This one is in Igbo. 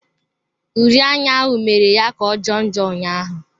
Uri anya ahụ mere ya kà ọ jọọ njọ ụnyaahụ.